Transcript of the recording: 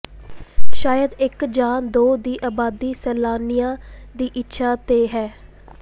ਸ਼ਾਇਦ ਇਕ ਜਾਂ ਦੋ ਦੀ ਆਬਾਦੀ ਸੈਲਾਨੀਆਂ ਦੀ ਇੱਛਾ ਤੇ ਹੈ